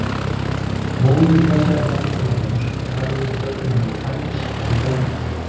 Móðir þessara barna var dönsk og talið er að börnin hafi fæðst í Danmörku.